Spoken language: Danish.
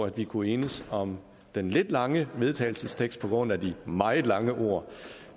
at vi kunne enes om den lidt lange forslag vedtagelses tekst på grund af de meget lange ord